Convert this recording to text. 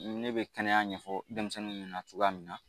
Ne bɛ kɛnɛya ɲɛfɔ denmisɛnninw ɲɛnɛ cogoya min na.